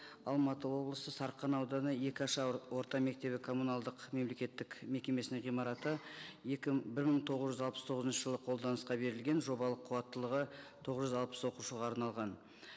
алматы облысы сарқан ауданы орта мектебі коммуналдық мемлекеттік мекемесінің ғимараты бір мың тоғыз жүз алпыс тоғызыншы жылы қолданысқа берілген жобалық қуаттылығы тоғыз жүз алпыс оқушыға арналған